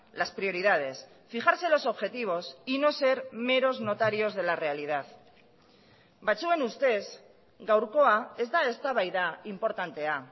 las prioridades fijarse los objetivos y no ser meros notarios de la realidad batzuen ustez gaurkoa ez da eztabaida inportantea